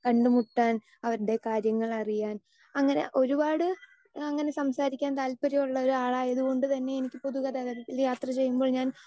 speaker 2 കണ്ടുമുട്ടാൻ അവരുടെ കാര്യങ്ങളറിയാൻ അങ്ങനെ ഒരുപാട് അങ്ങനെ സംസാരിക്കാൻ താല്പര്യമുള്ള ഒരാളായതുകൊണ്ട് തന്നെ എനിക്ക് പൊതു ഗതാഗതത്തിൽ യാത്രചെയ്യുമ്പോൾ ഞാൻ